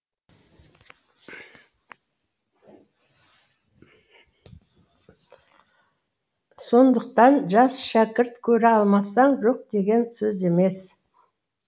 сондықтан жас шәкірт көре алмасаң жоқ деген сөз емес